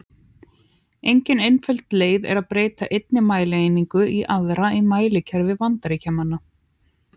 Engin einföld leið er að breyta einni mælieiningu í aðra í mælikerfi Bandaríkjamanna.